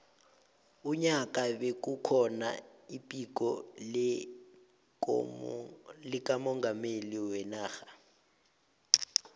unyaka bekukhona iphiko likamongameli wenarha